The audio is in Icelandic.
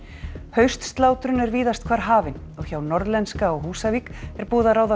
haustslátrun er víðast hvar hafin og hjá Norðlenska á Húsavík er búið að ráða